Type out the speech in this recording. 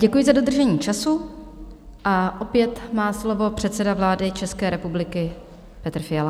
Děkuji za dodržení času a opět má slovo předseda vlády České republiky Petr Fiala.